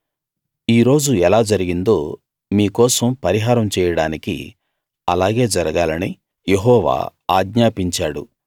ఈ రోజు ఎలా జరిగిందో మీ కోసం పరిహారం చేయడానికి అలాగే జరగాలని యెహోవా ఆజ్ఞాపించాడు